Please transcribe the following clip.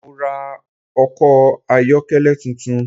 Mo ra ọkọ̀ ayọ́kẹ́lẹ́ tuntun